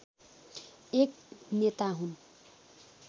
एक नेता हुन्